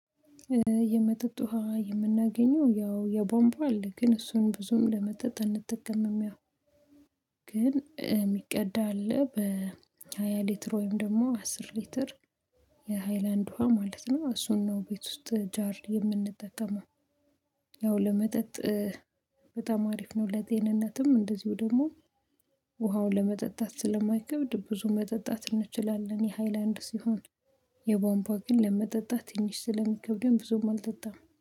የመጠጥ ውሃ የምናገኘው ያው የቦምባ አለ ግን እሱን ብዙም ለመጠጥ አንጠቅምም ያው። ግን የሚቀዳ አለ በሃያ ሊትር ወይም ደግሞ አስር ሊትር ውሃ ማለት ነው። እሱን ነው ቤት ውስጥ ጃር የምንጠቀመው። ያው ለመጠጥ በጣም አሪፍ ነው። ለጤንነትም እንደዚሁ ደግሞ ውሃውን ለመጠጣት ስለማይከብድ ብዙ መጠጣት እንችላለን የሃይላንድ ሲሆን። የቧንቧ ግን ለመጠጣት ትንሽ ስለሚከብደን ብዙም አልጠጣም